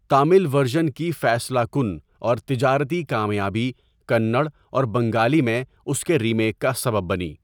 Tamil version کی فیصلہ کن اور تجارتی کامیابی کنڑ اور بنگالی میں اس کے ریمیک کا سبب بنی۔